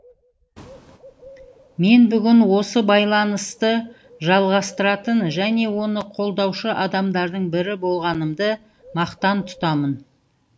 мен бүгін осы байланысты жалғастыратын және оны қолдаушы адамдардың бірі болғанымды мақтан тұтамын